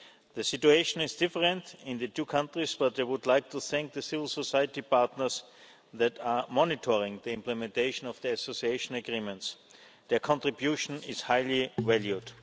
The situation is different in the two countries, but they would like to thank the civil society partners that are monitoring the implementation of their Association Agreements. Their contribution is highly valued.